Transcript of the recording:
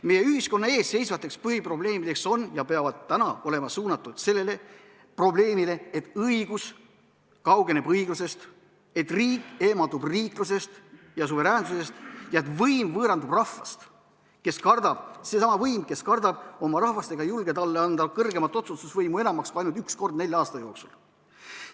Meie ühiskonna ees seisvad põhiprobleemid, millele teravik peab olema suunatud, on sellised, et õigus kaugeneb õiglusest, et riik eemaldub riiklusest ja suveräänsusest ning võim võõrandub rahvast – seesama võim, kes kardab oma rahvast ega julge talle anda kõrgemat otsustusvõimu enamaks kui ainult üks kord nelja aasta jooksul.